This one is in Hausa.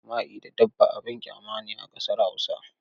Yin jima'i da dabba abin ƙyama ne a ƙasar Hausa.